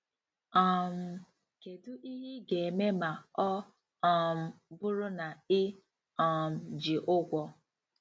um Kedu ihe ị ga-eme ma ọ um bụrụ na ị um ji ụgwọ?